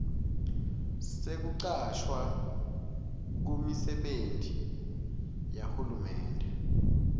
sekucashwa kumisebenti yahulumende